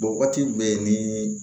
waati bɛɛ ni